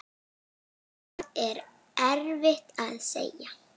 Það er erfitt að segja.